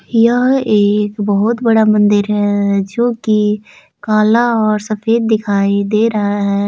यह एक बहुत बड़ा मंदिर है जोकि काला और सफेद दिखाई दे रहा है।